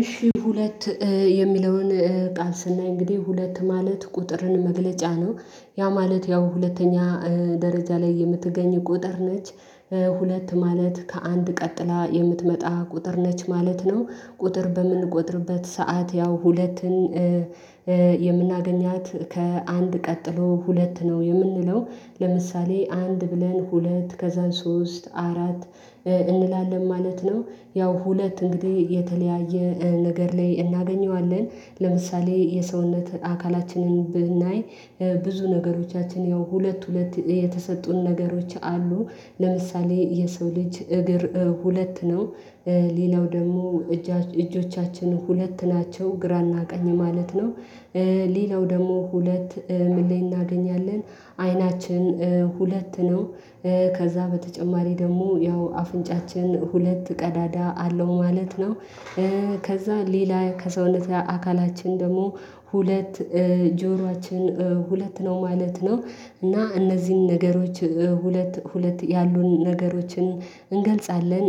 እሺ ሁለት የሚለውን ጣስናይ እንግዲህ ሁለት ማለት ቁጥርን መግለጫ ነው ያ ማለት ያው ሁለተኛ ደረጃ ላይ የምትገኝ ቁጥር ነች። ሁለት ማለት ከአንድ ቀጥላ የምትመጣ ቁጥር ነች ማለት ነው። ቁጥር በምንቆጥርበት ሰዓት ያው ሁለትን የምናገኛት ከአንድ ቀጥሎ ሁለት ነው የምንለው። ለምሳሌ አንድ ብለን ሁለት ከዛን ሶስት አራት እንላለን ማለት ነው። ያው ሁለት እንግዲህ የተለያየ ነገር ላይ እናገኘዋለን ለምሳሌ የሰውነት አካላችንን ብናይ ብዙ ነገሮቻችን ያው ሁለት ሁለት የተሰጡን ነገሮች አሉ። ለምሳሌ የሰው ልጅ እግር ሁለት ነው። ሌላው ደግሞ እጆቻችን ሁለት ናቸው ግራና ቀኝ ማለት ነው። ሌላው ደግሞ ሁለት ምን ላይ እናገኛለን አይናችን ሁለት ነው። ከዛ በተጨማሪ ደግሞ ያው አፍንጫችን ሁለት ቀዳዳ አለው ማለት ነው። ከዛ ሌላ ከሰውነታችን አካላችን ደግሞ ሁለት ጀሯችን ሁለት ነው ማለት ነው። እና እነዚህን ነገሮች ሁለት ሁለት ያሉን ነገሮችን እንገልጻለን።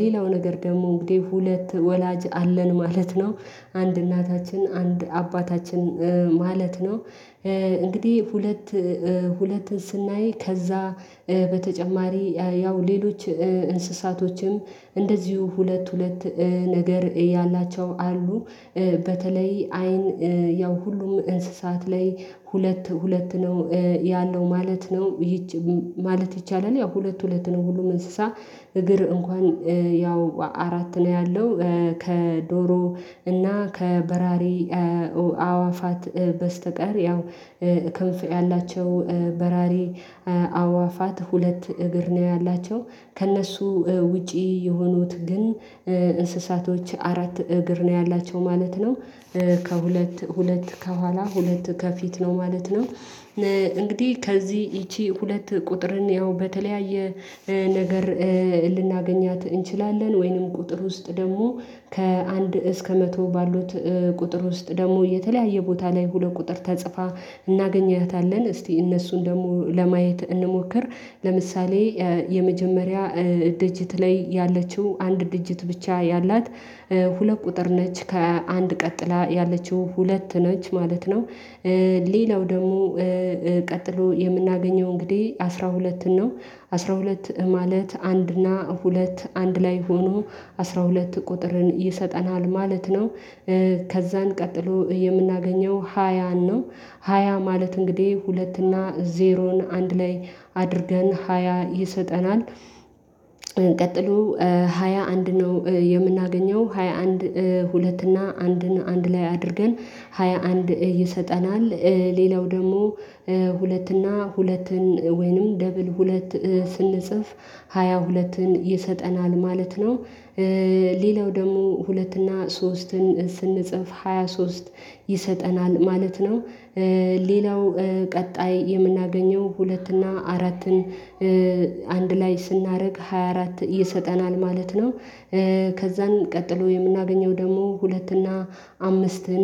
ሌላው ነገር ደግሞ እንግዲህ ሁለት ወላጅ አለን ማለት ነው። አንድ እናታችን አንድ አባታችን ማለት ነው። እንግዲህ ሁለት ሁለትን ስናይ ከዛ በተጨማሪ ያው ሌሎች እንስሳቶችም እንደዚሁ ሁለት ሁለት ነገር ያላቸው አሉ። በተለይ አይን ያው ሁሉም እንስሳት ላይ ሁለት ሁለት ነው ያለው ማለት ነው። ማለት ይቻላል ያው ሁለት ሁለት ነው ሁሉም እንስሳ እግር እንኳን ያው አራት ነው ያለው። ከዶሮ እና ከበራሪ አእዋፋት በስተቀር ያው ክንፍ ያላቸው በራሪ አእዋፋት ሁለት እግር ነው ያላቸው ከእነሱ ውጪ የሆኑት ግን እንስሳቶች አራት እግር ነው ያላቸው ማለት ነው። ከሁለት ሁለት ከኋላ ሁለት ከፊት ነው ማለት ነው። እንግዲህ ከዚህ ይቺ ሁለት ቁጥርን ያው በተለያየ ነገር ልናገኛት እንችላለን ወይንም ቁጥር ውስጥ ደግሞ ከአንድ እስከ መቶ ባሉት ቁጥር ውስጥ ደግሞ የተለያየ ቦታ ላይ ሁለት ቁጥር ተጽፋ እናገኘህታለን እስቲ እነሱን ደግሞ ለማየት እንሞክር። ለምሳሌ የመጀመሪያ ድጅት ላይ ያለችው አንድ ድጅት ብቻ ያላት ሁለት ቁጥር ነች ከአንድ ቀጥላ ያለችው ሁለት ነች ማለት ነው። ሌላው ደግሞ ቀጥሎ የምናገኘው እንግዲህ አስራ ሁለትን ነው አስራ ሁለት ማለት አንድ እና ሁለት አንድ ላይ ሆኖ አስራ ሁለት ቁጥርን ይሰጠናል ማለት ነው። ከዛን ቀጥሎ የምናገኘው ሃያ ነው ሃያ ማለት እንግዲህ ሁለት እና ዜሮን አንድ ላይ አድርገን ሃያ ይሰጠናል። ቀጥሎ ሃያ አንድ ነው የምናገኘው ሃያ አንድ ሁለት እና አንድን አንድ ላይ አድርገን ሃያ አንድ ይሰጠናል። ሌላው ደግሞ ሁለት እና ሁለትን ወይንም ደብል ሁለት ስንጽፍ ሃያ ሁለትን ይሰጠናል ማለት ነው። ሌላው ደግሞ ሁለት እና ሶስትን ስንጽፍ ሃያ ሶስት ይሰጠናል ማለት ነው። ሌላው ቀጣይ የምናገኘው ሁለት እና አራትን አንድ ላይ ስናደርግ ሃያ አራት ይሰጠናል ማለት ነው። ከዛን ቀጥሎ የምናገኘው ደግሞ ሁለት እና አምስትን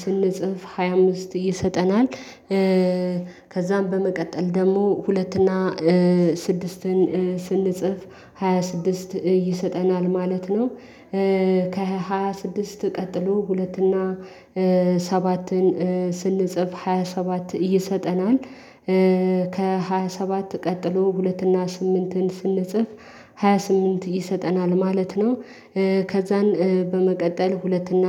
ስንጽፍ ሃያ አምስት ይሰጠናል ከዛም በመቀጠል ደግሞ ሁለትና ስድስትን ስንጽፍ ሃያ ስድስት ይሰጠናል ማለት ነው። ከሃያ ስድስት ቀጥሎ ሁለት እና ሰባትን ስንጽፍ ሃያ ሰባት እየሰጠናል ከሃያ ሰባት ቀጥሎ ሁለት እና ስምንትን ስንጽፍ ሃያ ስምንት ይሰጠናል ማለት ነው። ከዛን በመቀጠል ሁለት እና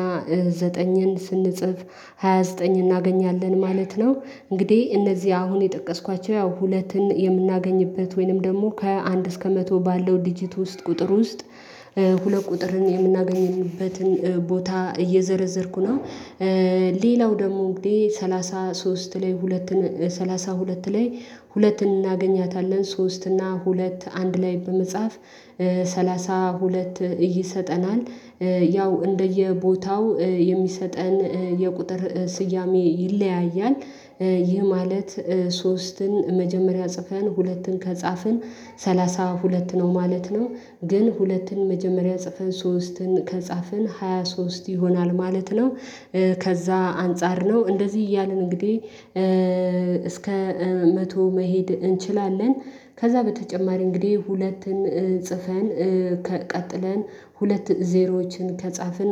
ዘጠኝን ስንጽፍ ሃያ ዘጠኝ እናገኛለን ማለት ነው። እንግዲህ እነዚህ አሁን የጠቀስኳቸው ያው ሁለትን የምናገኝበት ወይንም ደግሞ ከአንድ እስከ መቶ ባለው ዲጂት ውስጥ ቁጥር ውስጥ ሁለት ቁጥርን የምናገኝበትን ቦታ እየዘረዘርኩ ነው። ሌላው ደግሞ እንግዲህ ሰላሳ ሶስት ላይ ሁለት ሰላሳ ሁለት ላይ ሁለት እናገኛታለን ሶስት እና ሁለት አንድ ላይ በመጽሐፍ ሰላሳ ሁለት ይሰጠናል። ያው እንደየቦታው የሚሰጠን የቁጥር ስያሜ ይለያያል። ይህ ማለት ሶስትን መጀመሪያ ጽፈን ሁለትን ከጻፍን ሰላሳ ሁለት ነው ማለት ነው። ግን ሁለትን መጀመሪያ ጽፈን ሶስትን ከጻፍን ሃያ ሶስት ይሆናል ማለት ነው። ከዛ አንፃር ነው እንደዚህ እያልን እንግዲህ እስከ መቶ መሄድ እንችላለን። ከዛ በተጨማሪ እንግዲህ ሁለትን ጽፈን ቀጥለን ሁለት ዜሮዎችን ከጻፍን